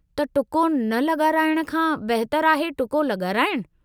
त टुको न लॻाराइण खां बहितरु आहे टुको लॻाराइणु।